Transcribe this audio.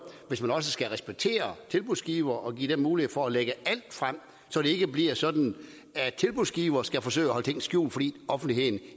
hvis man også skal respektere tilbudsgivere og give dem mulighed for at lægge alt frem så det ikke bliver sådan at tilbudsgivere skal forsøge at holde ting skjult fordi offentligheden